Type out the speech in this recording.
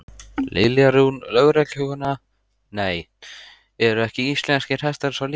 Lilja Rún, lögreglukona: Nei, eru ekki íslenskir hestar svo litlir?